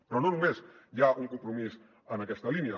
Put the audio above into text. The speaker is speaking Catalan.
però no només hi ha un compromís en aquesta línia